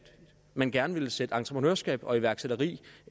man gerne ville sætte entreprenørskab og iværksætteri